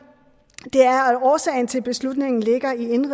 er at årsagen til beslutningen ligger i